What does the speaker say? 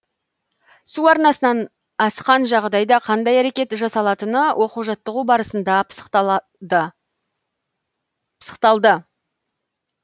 су арнасынан асқан жағдайда қандай әрекет жасалатыны оқу жаттығу барысында пысықталды